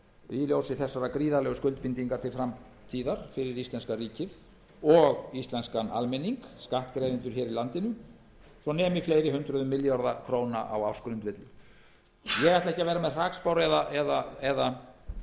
í ljósi þessara gríðarlegu skuldbindinga til framtíðar fyrir íslenska ríkið og íslenskan almenning skattgreiðendur í landinu svo nemi fleiri hundruðum milljarða króna á ársgrundvelli ég ætla ekki að vera með hrakspár eða hræða